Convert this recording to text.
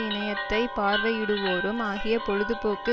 இணையத்தை பார்வையிடுவோரும் ஆகிய பொழுதுபோக்கு